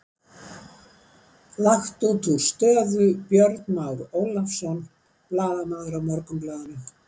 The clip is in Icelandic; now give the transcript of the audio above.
Langt útúr stöðu Björn Már Ólafsson, blaðamaður á Morgunblaðinu.